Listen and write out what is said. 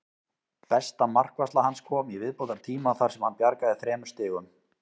Besta markvarsla hans kom í viðbótartíma þar sem hann bjargaði þremur stigum.